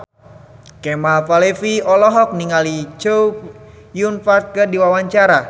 Kemal Palevi olohok ningali Chow Yun Fat keur diwawancara